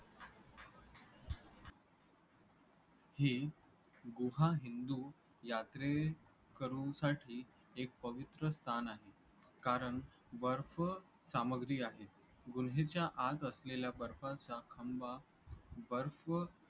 ही गुहा हिंदू यात्रेकरूसाठी एक पवित्र स्थान आहे. कारण बर्फ सामग्री आहे, गुहेच्या आत असलेल्या बर्फाचा खंबा बर्फ